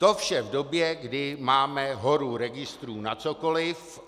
To vše v době, kdy máme horu registrů na cokoliv.